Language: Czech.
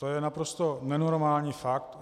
To je naprosto nenormální fakt.